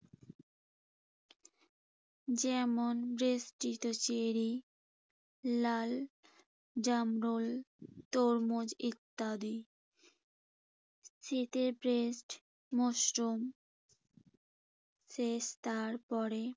যেমন, বেষ্টিত চেরি, লাল জামরুল, তরমুজ ইত্যাদি। শীতে মশরুম শেষ তারপরে